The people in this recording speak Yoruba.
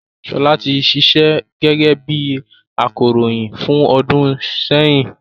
Ṣọlá ti ṣíṣe gẹ́gẹ́ bí akọròyìn fún ọdún sẹ́yìn